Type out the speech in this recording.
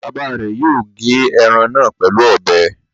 Bàbá rẹ̀ yóò gé ẹran náà pẹ̀lú ọbẹ.